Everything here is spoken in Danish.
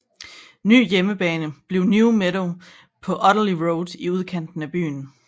Ny hjemmebane bliver New Meadow på Oteley Road i udkanten af byen